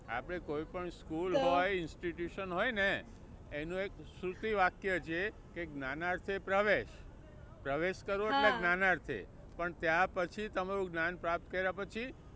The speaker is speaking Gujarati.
કોઈ પણ school હોય institution હોય ને એનું એક સુરતી વાક્ય છે કે જ્ઞાનાર્થે પ્રવેશ, પ્રવેશ કરો એટલે જ્ઞાનાર્થે, પણ ત્યાં પછી તમારું જ્ઞાન પ્રાપ્ત કર્યા પછી